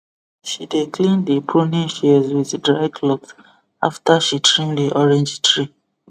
she dey clean the pruning shears with dry cloth after she trim the orange tree